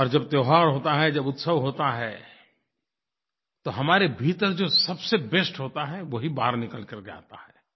और जब त्योहार होता है जब उत्सव होता है तो हमारे भीतर जो सबसे बेस्ट होता है वही बाहर निकल कर के आता है